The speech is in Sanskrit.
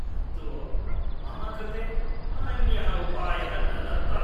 परन्तु मम कृते अन्यः उपायः न दत्तः।